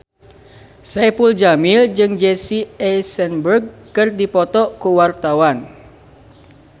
Saipul Jamil jeung Jesse Eisenberg keur dipoto ku wartawan